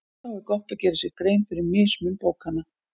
Þá er gott að gera sér grein fyrir mismun bókanna.